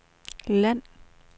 land